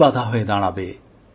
কী বাধা হয়ে দাঁড়াবে